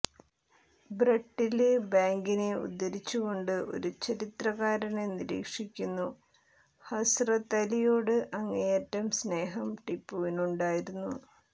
ബ്രട്ടില് ബാങ്കിനെ ഉദ്ധരിച്ചുകൊണ്ട് ഒരു ചരിത്രകാരന് നിരീക്ഷിക്കുന്നു ഹസ്റത്ത് അലിയോട് അങ്ങേയറ്റം സ്നേഹം ടിപ്പുവിനുണ്ടായിരുന്നു